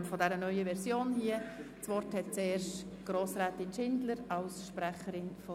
Zu Ziffer 6 des Berichts des Regierungsrates: Nichtabschreiben der Motion